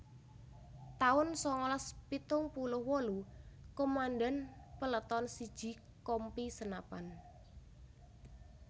taun sangalas pitung puluh wolu Komandan Peleton siji Kompi Senapan